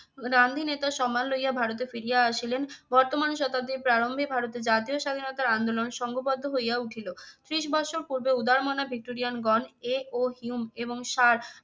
গান্ধী নেতার সম্মান লইয়া ভারতে ফিরিয়া আসিলেন। বর্তমান শতাব্দীর প্রারম্ভিক ভারতে জাতীয় স্বাধীনতার আন্দোলন সঙ্গবদ্ধ হইয়া উঠিল। ত্রিশ বৎসর পূর্বে উদারমনা ভিক্টোরিয়ান গন A. O. হিউম এবং সার